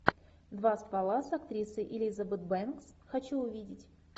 два ствола с актрисой элизабет бэнкс хочу увидеть